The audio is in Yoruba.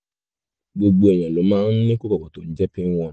gbogbo èèyàn ló máa ń ní kòkòrò tó ń jẹ́ pinworm